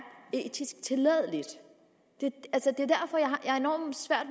etisk tilladeligt det